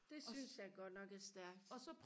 det synes jeg godt nok er stærkt